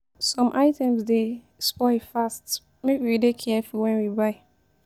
Some items dey spoil fast; make we dey careful wen we buy.